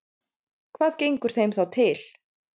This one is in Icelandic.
Hvað gengur þeim þá til?